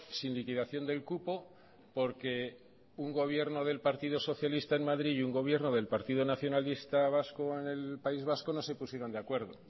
sin liquidación del cupo porque un gobierno del partido socialista en madrid y un gobierno del partido nacionalista vasco en el país vasco no se pusieron de acuerdo